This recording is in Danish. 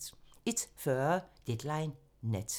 01:40: Deadline Nat (tir)